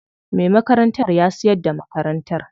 Me makarantar ya siyar da makarantar.